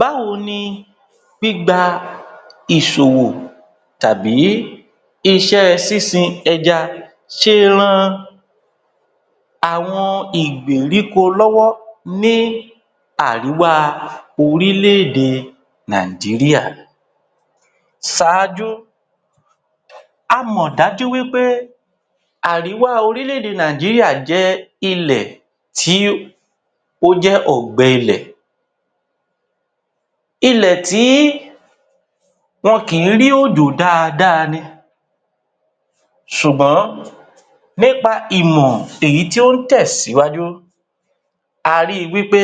Báwo ni gbígba ìṣòwò tàbí iṣẹ́ sísin ẹja ṣé rán àwọn ìgbèríko lọ́wọ́ ní àríwá orílẹ̀-èdè Nàìjíríà? Ṣáájú, a mọ̀ dájú wí pé àríwá orílẹ̀-èdè Nàìjíríà jẹ́ ilẹ̀ tí ó jẹ́ ọ̀gbẹ-ilẹ̀. Ilẹ̀ tí wọn kì í rí òjò dáadáa ni, ṣùgbọ́n nípa ìmọ̀ èyí tí ó ń tẹ̀síwájú, a rí i wí pé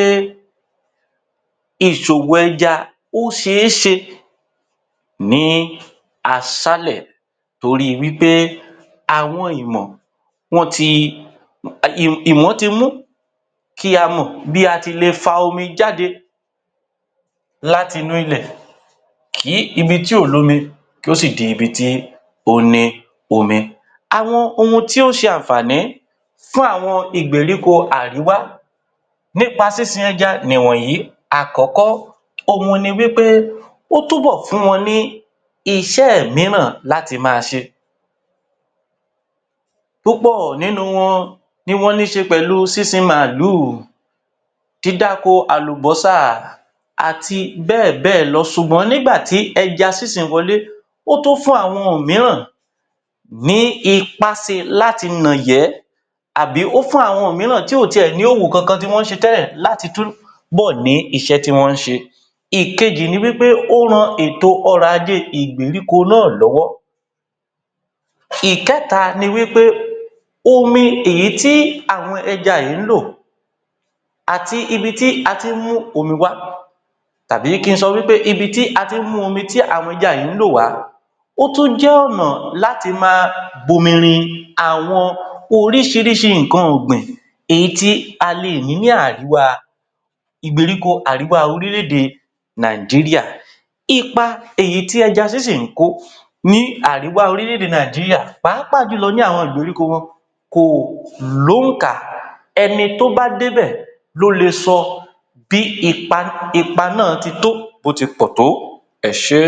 ìṣòwò ẹja ó ṣe é ṣe ní aṣálẹ̀ torí wí pé àwọn ìmọ̀ wọ́n ti ìmọ̀ ti mú kí a mọ bí a ti le fa omi jáde láti inú ilẹ̀, kí ibi tí ò lómi kí ó sì di ibi tí ó ní omi. Àwọn ohun tí ó ń ṣe àǹfààní fún àwọn ìgbèríko àríwá nípa sísin ẹja ni wọ̀nyí: àkọ́kọ́, òhun ni wí pé ó tú bọ̀ fún wọn ní iṣẹ́ mìíràn láti máa ṣe. Púpọ̀ nínú wọn ni wọ́n ní ṣe pẹ̀lú sísin màálù, dídáko àlùbọ́sà, àti bẹ́ẹ̀ bẹ́ẹ̀ lọ. Ṣùgbọ́n nígbà tí ẹja sísin wọlé, ó tún fún àwọn mìíràn ní ipáse láti nàyẹ́ àbí ó fún àwọn mìíràn tí ò ti ẹ̀ ní òwò kọ̀ọ̀kan tí wọ́n ń ṣe tẹ́lẹ̀ láti túbọ̀ ni iṣẹ́ tí wọ́n ń ṣe. Ìkejì ni wí pé ó rán èto ọ̀rọ̀ ajé ìgbèríko náà lọ́wọ́. Ìkẹta ni wí pé omi èyí tí àwọn ẹja yìí ń lò àti ibi tí a tí ń mú omi wá tàbí kí n sọ wí pé ibi tí a ti ń mú omi tí àwọn ẹja yìí ń lò wá, ó tún jẹ́ ọ̀nà láti máa bomi rin àwọn oríṣiríṣi nǹkan ọ̀gbìn èyí tí a lè ní ní àríwá ìgbèríko àríwá orílẹ̀-èdè Nàìjíríà. Ipa èyí tí ẹja sísìn ń kó ní àríwá orílẹ̀-èdè Nàìjíríà pàápàá jù lọ ní àwọn ìgbèríko wọn kò lóǹkà, ẹni tó bá dé bẹ̀ ló le sọ bí ipa ipa náà ti tó bó ti pọ̀ tó. Ẹ ṣé.